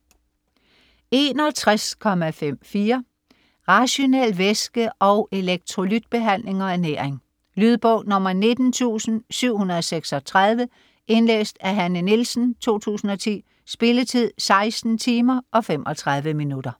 61.54 Rationel væske-, elektrolytbehandling og ernæring Lydbog 19736 Indlæst af Hanne Nielsen, 2010. Spilletid: 16 timer, 35 minutter.